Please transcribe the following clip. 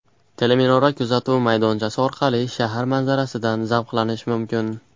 Teleminora kuzatuv maydonchasi orqali shahar manzarasidan zavqlanish mumkin.